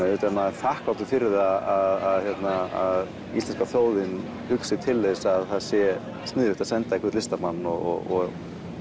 auðvitað er maður þakklátur fyrir það að íslenska þjóðin hugsi til þess að það sé sniðugt senda einhvern listamann og að